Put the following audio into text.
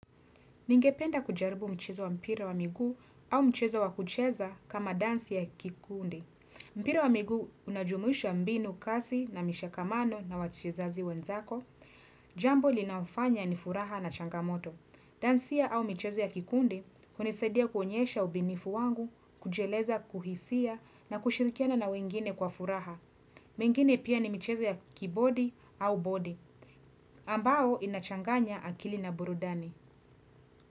Ningependa kujaribu mchezo wa mpira wa miguu au mchezo wa kucheza kama dansi ya kikundi. Mpira wa miguu unajumuisha mbinu kasi na mishakamano na wachezaji wenzako. Jambo linaofanya ni furaha na changamoto. Dansi au michezo ya kikundi, hunisaidia kuonyesha ubinifu wangu, kujieleza, kuhisia na kushirikiana na wengine kwa furaha. Mengine pia ni michezo ya kibodi au bodi, ambao inachanganya akili na burudani.